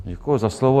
Děkuji za slovo.